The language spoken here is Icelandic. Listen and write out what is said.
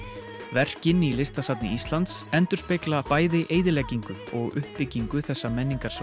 verkin í Listasafni Íslands endurspegla bæði eyðileggingu og uppbyggingu þessa